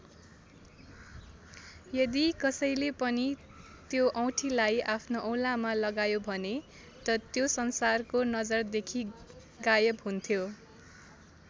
यदि कसैले पनि त्यो औँठीलाई आफ्नो औलामा लगायो भने त त्यो संसारको नजरदेखि गायब हुन्थ्यो।